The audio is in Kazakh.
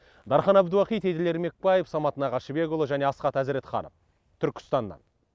дархан әбдуахит еділ ермекбаев самат нағашыбекұлы және асхат әзіретханов түркістаннан